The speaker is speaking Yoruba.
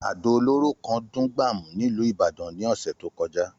Àdó olóró kan dún gbàmù nílùú Ìbàdàn ní ọ̀sẹ̀ tó kọjá